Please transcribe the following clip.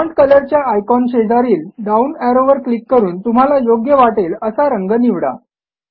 font कलरच्या icon शेजारील down ऍरोवर क्लिक करून तुम्हाला योग्य वाटेल असा रंग निवडा